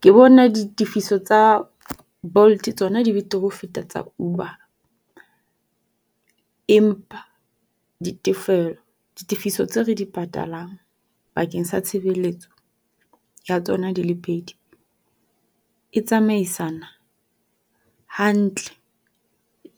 Ke bona ditifiso tsa Bolt, tsona di betere ho feta tsa Uber. Empa ditefiso tse re di patalang bakeng sa tshebeletso ya tsona di le pedi e tsamaisana hantle